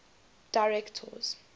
directors